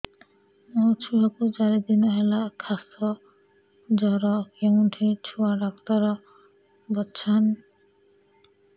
ମୋ ଛୁଆ କୁ ଚାରି ଦିନ ହେଲା ଖାସ ଜର କେଉଁଠି ଛୁଆ ଡାକ୍ତର ଵସ୍ଛନ୍